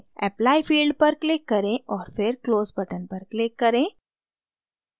apply field पर click करें और फिर close button पर click करें